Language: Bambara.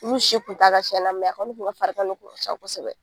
Olu si kun t'a la tiɲɛna mɛ a kɔni kun ka farigan de kun ca kosɛbɛ.